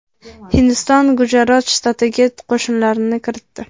Hindiston Gujarot shtatiga qo‘shinlarini kiritdi.